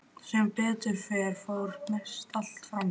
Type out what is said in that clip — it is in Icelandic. Sem betur fer fór mest allt fram hjá.